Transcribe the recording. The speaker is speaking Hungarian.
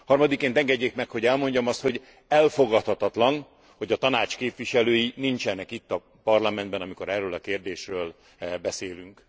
Harmadikként engedjék meg, hogy elmondjam azt, hogy elfogadhatatlan, hogy a Tanács képviselői nincsenek itt a Parlamentben, amikor erről a kérdésről beszélünk.